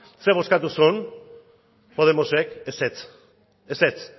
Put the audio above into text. zer bozkatu zuen podemosek ezetz ezetz